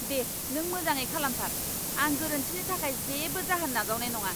दे, नों मोजाङै खालामथार। आं गोरोन्थिनि थाखाय जेबो जाहोन नाजावनाय नङा।